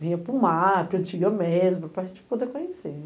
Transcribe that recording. Vinha para o mar, para a antiga mesma, para a gente poder conhecer.